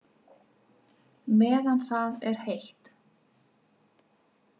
Meðan það er heitt.